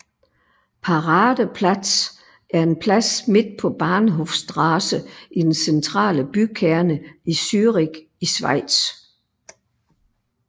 Paradeplatz er en plads midt på Bahnhofstrasse i den centrale bykerne i Zürich i Schweiz